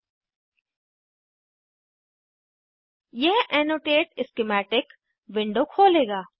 यह annotate schematic annotate schematic window खोलेगा